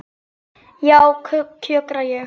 Já, kjökra ég.